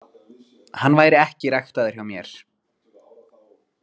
Hann væri ekki ræktaður hjá mér.